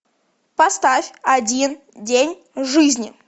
поставь один день жизни